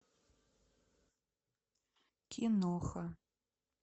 киноха